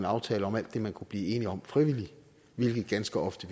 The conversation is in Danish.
aftale om alt det man kunne blive enige om frivilligt hvilket ganske ofte